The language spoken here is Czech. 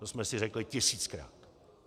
To jsme si řekli tisíckrát.